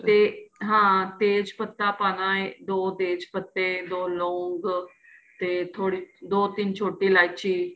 ਤੇ ਹਾਂ ਤੇਜ਼ ਪੱਤਾ ਪਾਣਾ ਏ ਦੋ ਤੇਜ ਪੱਤੇ ਦੋ ਲੋਂਗ ਤੇ ਥੋੜੀ ਜੀ ਦੋ ਤਿੰਨ ਛੋਟੀ ਇਲਾਈਚੀ